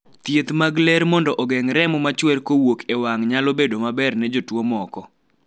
thieth mag ler mondo ogeng' remo machwer kowuok e wang' nyalo bedo maber ne jotuo moko